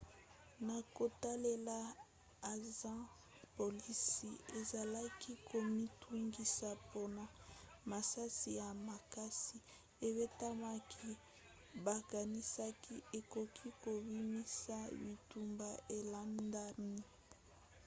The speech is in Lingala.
na kotalela ansa polisi ezalaki komitungisa mpona masasi ya makasi ebetamaki bakanisaki ekoki kobimisa bitumba elandani